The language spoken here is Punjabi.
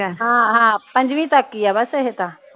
ਹਾਂ ਹਾਂ ਪੰਜਵੀ ਤਕ ਈਆ ਬਸ ਇਹ ਤਾ